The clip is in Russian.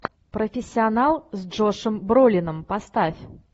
профессионал с джошем бролином поставь